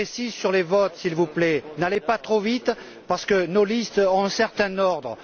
très précis sur les votes, s'il vous plaît, n'allez pas trop vite, parce que nos listes ont un certain ordre.